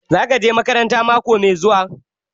Za ka je makaranta mako mai zuwa?